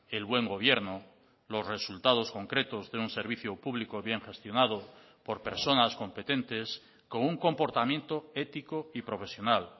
el buen gobierno los resultados concretos de un servicio público bien gestionado por personas competentes con un comportamiento ético y profesional